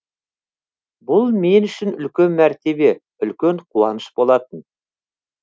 бұл мен үшін үлкен мәртебе үлкен қуаныш болатын